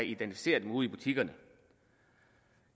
identificere ude i butikkerne